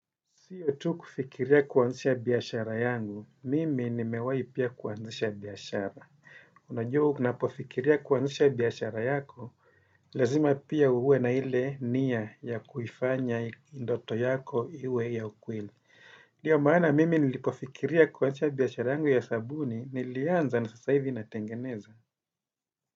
Siyo tu kufikiria kuanzisha biashara yangu, mimi nimewai pia kuanzisha biashara. Unajua unapofikiria kuanzisha biashara yako, lazima pia uwe na ile nia ya kufanya ndoto yako iwe ya ukweli. Ndiyo maana mimi nilipofikiria kuanzisha biashara yangu ya sabuni, nilianza na sasa hivi natengeneza.